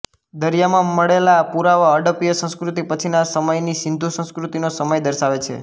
દરિયામાં મળેલા પુરાવા હડપ્પીય સંસ્કૃતિ પછીના સમયની સિંધુ સંસ્કૃતિનો સમય દર્શાવે છે